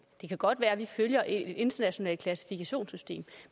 det kan godt være at vi følger et internationalt klassifikationssystem